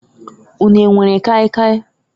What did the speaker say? Ụnu e nwere kai kai?